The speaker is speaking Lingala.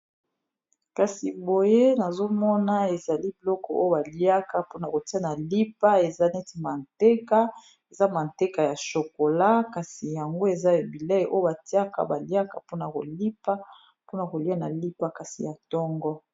kasi boye nazomona ezali biloko oyo baliaka mpona kotia na lipa eza neti manteka eza manteka ya shokola kasi yango eza ebilei oyo batiaka baliaka mpona kolipa mpona kolia na lipa kasi ya ntongo